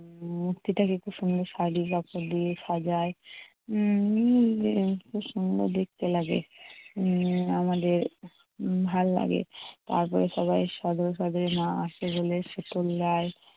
মূর্তিটাকে খুব সন্দর শাড়ির আচঁল দিয়ে সাজায়। উম খুব সুন্দর দেখতে লাগে। উম আমাদের ভালো লাগে। তারপরে সবাই মা আসে বলে